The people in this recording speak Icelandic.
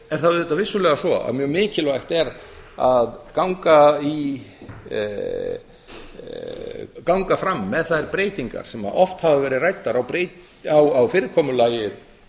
er það vissulega svo að mjög mikilvægt er að ganga fram með þær breytingar sem oft hafa verið ræddar á fyrirkomulagi